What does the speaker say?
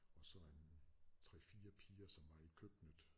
Og så en 3 4 piger som var i køkkenet